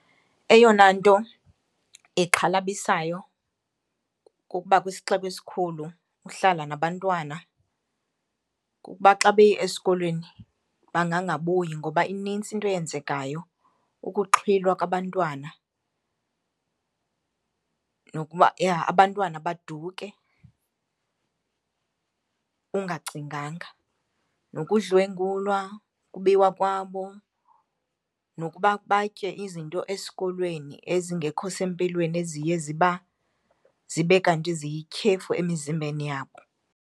Eyona nto ixhalabisayo kukuba kwisixeko esikhulu uhlala nabantwana kukuba xa beye esikolweni bangangabuyi ngoba ininzi into eyenzekayo, ukuxhwilwa kwabantwana nokuba abantwana baduke ungacinganga, nokudlwengulwa, ukubiwa kwabo, nokuba batye izinto esikolweni ezingekho sempilweni eziye ziba zibe kanti ziyityhefu emizimbeni yabo.